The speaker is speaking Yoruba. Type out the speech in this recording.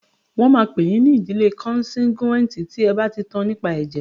Wọ́n máa pè yín ní ìdílé kọnsangíwìnì tí ẹ bá ti tan nípa ẹ̀jẹ̀.